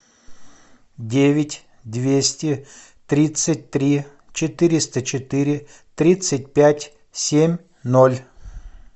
девять двести тридцать три четыреста четыре тридцать пять семь ноль